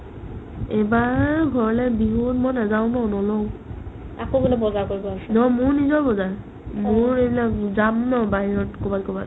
এইবাৰ ঘৰলে বিহুত মই নাযাও ন নলও নহয় মোৰ নিজৰ বজাৰ মোৰ এইবিলাক যাম ন বাহিৰত ক'ৰবাত ক'ৰবাত